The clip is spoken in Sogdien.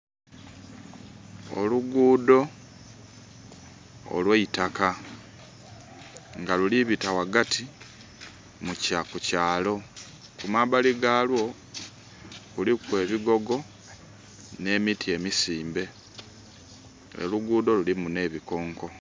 Oluguudo olweitaka nga lulibita wagati kukyaalo. Kumabbali galwo kuliku ebigogo n'emiti emisimbe. Oluguudo lulimu n'ebikonko.